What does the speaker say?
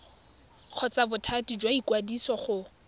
kgotsa bothati jwa ikwadiso go